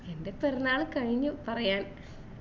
എന്റെ പിറന്നാള് കഴിഞ്ഞു പറയാൻ